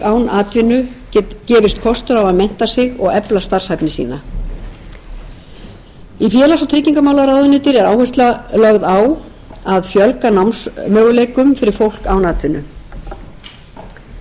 atvinnu gefist kostur á að mennta sig og efla starfshæfni sína í félags og tryggingamálaráðuneyti er áhersla lögð á að fjölga námsmöguleikum fyrir fólk án atvinnu vinnumálastofnun er nú heimilt